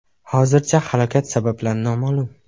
Hozircha halokat sabablari noma’lum.